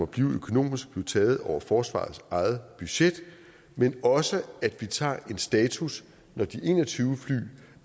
blive økonomisk blive taget over forsvarets eget budget men også at vi tager en status når de en og tyve fly